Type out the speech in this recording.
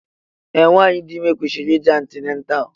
Ee, nwanyị dị ime kwesịrị ije antinatal